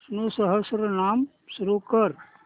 विष्णु सहस्त्रनाम सुरू कर